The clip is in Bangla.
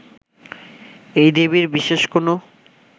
এই দেবীর বিশেষ কোন